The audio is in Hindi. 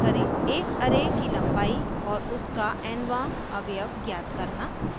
एक array array की लम्बाई और उसका n वाँ अवयव ज्ञात करना